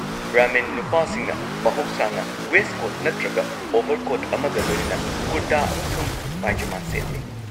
ꯕ꯭ꯔꯍꯃꯤꯟ ꯅꯨꯄꯥꯁꯤꯡꯅ ꯃꯍꯧꯁꯥꯅ ꯋꯦꯁ꯭ꯠꯀꯣꯠ ꯅꯠꯇ꯭ꯔꯒ ꯑꯣꯚꯔꯀꯣꯠ ꯑꯃꯒ ꯂꯣꯏꯅꯅ ꯀꯨꯔꯇꯥ ꯑꯃꯁꯨꯡ ꯄꯥꯢꯖꯃꯥ ꯁꯦꯠꯂꯤ꯫